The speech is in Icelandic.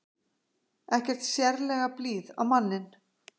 Ekkert sérlega blíð á manninn.